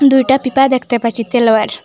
দুইটা পিপা দেখতে পাচ্ছি তেলয়ের।